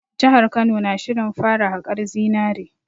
Jihar Kano na shirin fara haƙar zinare